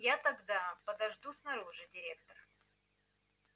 я тогда подожду снаружи директор